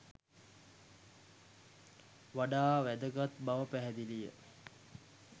වඩා වැදගත් බව පැහැදිලි ය.